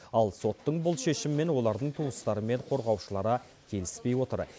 ал соттың бұл шешімімен олардың туыстары мен қорғаушылары келіспей отыр